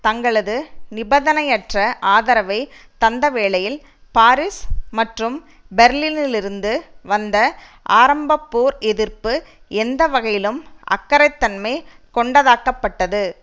தங்களது நிபதனையற்ற ஆதரவை தந்தவேளையில் பாரீஸ் மற்றும் பேர்லினிலிருந்து வந்த ஆரம்ப போர் எதிர்ப்பு எந்த வகையிலும் அக்கறைத்தன்மை கொண்டதாக்கப்பட்டது